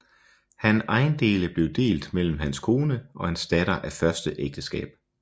Han ejendele blev delt mellem hans kone og hans datter af første ægteskab